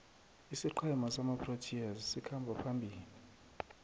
isiqhema samaproteas sikhamba phambili